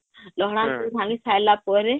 ହଁ ଲହଡା ଲୁହୁଡ଼ି ଭାଙ୍ଗି ସାରଲା ପରେ